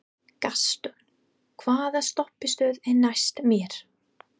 Gaston, hvaða stoppistöð er næst mér?